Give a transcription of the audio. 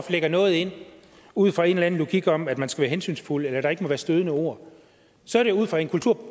lægger noget ind ud fra en eller anden logik om at man skal være hensynsfuld eller der ikke må være stødende ord så er det ud fra en